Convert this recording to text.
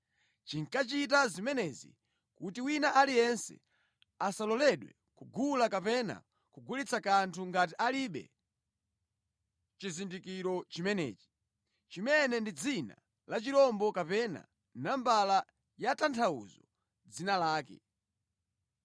Chinkachita zimenezi kuti wina aliyense asaloledwe kugula kapena kugulitsa kanthu ngati alibe chizindikiro chimenechi, chimene ndi dzina la chirombocho kapena nambala yotanthauza dzina lake.